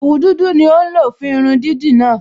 Òwu dúdú ni ó ń lò fún irun dídì náà